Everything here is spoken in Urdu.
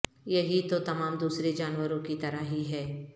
یہی تو تمام دوسرے جانوروں کی طرح ہی ہے